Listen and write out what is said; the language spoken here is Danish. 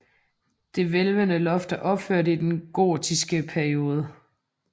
Det hvælvede loft er opført i den gotiske periode